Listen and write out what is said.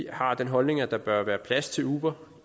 har den holdning at der bør være plads til uber